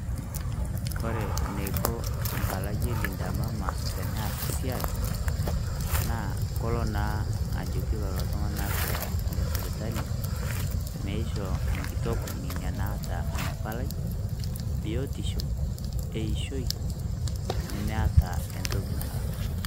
Kore niko mpalai e Linda Mama teneas esiai, na kolo naa ajoki lolo tung'anak le sipitali, meishoo enkitok inia naata ina palai, biotisho eishoi, nemeeta entoki nalak.